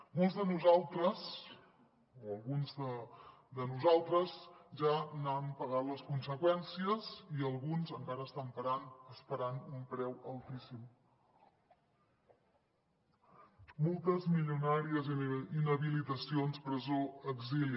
molts de nosaltres o alguns de nosaltres ja n’hem pagat les conseqüències i alguns encara estan esperant un preu altíssim multes milionàries inhabilitacions presó exili